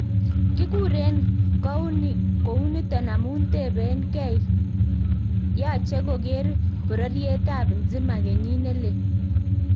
Kikuren kouniton amu teben ge ii, yache koker bororiet ab N'zima kenyit nelel?